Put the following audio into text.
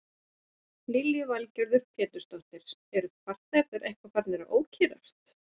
Lillý Valgerður Pétursdóttir: Eru farþegarnir eitthvað farnir að ókyrrast?